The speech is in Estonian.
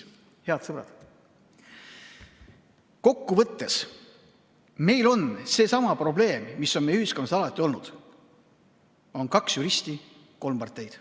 Head sõbrad, kokkuvõttes on meil seesama probleem, mis on meie ühiskonnas alati olnud: on kaks juristi, kolm parteid.